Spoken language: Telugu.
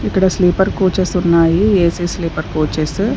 ఇక్కడ స్లీపర్ కోచెస్ ఉన్నాయి ఏ_సి స్లీపర్ కోచెస్ .